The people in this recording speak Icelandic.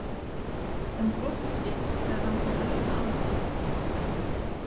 Sem glotti þegar hann kom auga á hana.